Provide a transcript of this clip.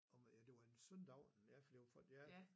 Om det var en søndag aften ja fordi folk ja